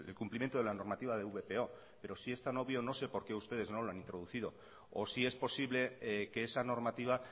cumplimiento de la normativa de vpo pero si es tan obvio no sé por qué ustedes no la han introducido o si es posible que esa normativa